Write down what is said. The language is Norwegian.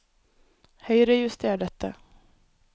Høyrejuster dette